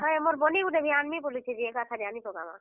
ହଏ ମୋର୍ ବନି ଗୁଟେ ବି ଆନ୍ ମି ବୋଲୁଛେ ଯେ। ଏକା ସାରି ଆନି ପକାମା।